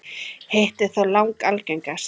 hitt er þó lang algengast